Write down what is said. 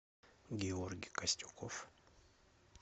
георгий костюков